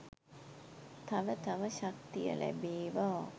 තව තව ශක්තිය ලැබේවා!